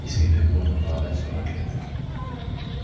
и с виду ему можно было дать сорок лет